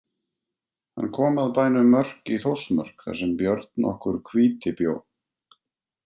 Hann kom að bænum Mörk í Þórsmörk þar sem Björn nokkur hvíti bjó.